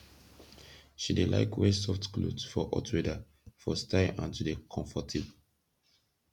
she dey laik wear soft kloth for hot weather for style and to dey komfortabol